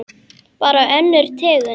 Bara önnur tegund.